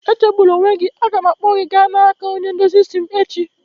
Echegbuna onwe gị, a ga m akpọgaa gị na nke onye ndozi isi m echi